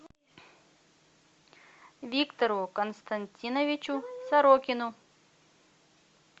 виктору константиновичу сорокину